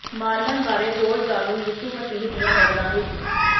Mormon ਬਾਰੇ ਹੋਰ ਜਾਣੋ ਯਿਸੂ ਮਸੀਹ ਦੀਆਂ ਨਜ਼ਰਾਂ ਵਿਚ